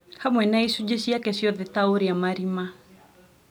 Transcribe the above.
hamwe na icunjĩ ciake ciothe ta ũrĩa marima